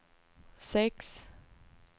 sex